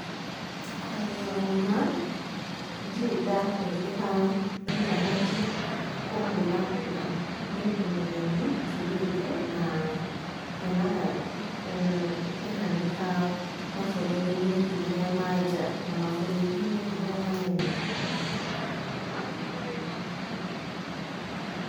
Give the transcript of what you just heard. Kwaria ũma ndirĩ ndahũthĩra intaneti kũhũra kura. Ni ũndũ mũgeni njiguĩte, na nyonaga ikĩhanĩka mabũrũri-inĩ marĩa ma nja, na mabũrũri-inĩ manene.